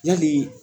Yali